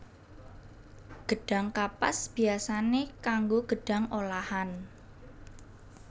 Gedhang kapas biyasané kanggo gedhang olahan